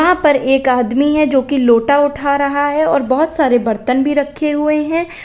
यहां पर एक आदमी है जो की लोटा उठा रहा है और बहुत सारे बर्तन भी रखे हुए हैं।